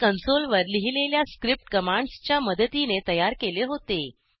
हे कंसोल वर लिहिलेल्या स्क्रिप्ट कमांड्स च्या मदतीने तयार केले होते